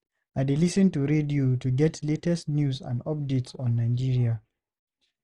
I dey lis ten to radio to get latest news and updates on Nigeria.